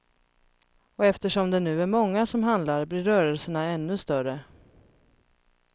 Och eftersom det nu är många som handlar blir rörelserna ännu större.